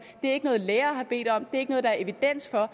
det er ikke noget lærere har bedt om og er ikke noget der er evidens for